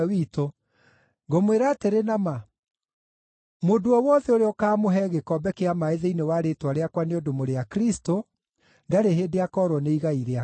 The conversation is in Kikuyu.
Ngũmwĩra atĩrĩ na ma, mũndũ o wothe ũrĩa ũkaamũhe gĩkombe kĩa maaĩ thĩinĩ wa rĩĩtwa rĩakwa nĩ ũndũ mũrĩ a Kristũ, ndarĩ hĩndĩ akoorwo nĩ igai rĩake.”